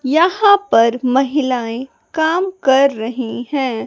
यहां पर महिलाएं काम कर रही हैं।